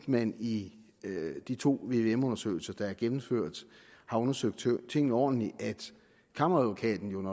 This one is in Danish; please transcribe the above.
man i de to vvm undersøgelser der er gennemført har undersøgt tingene ordentligt kammeradvokaten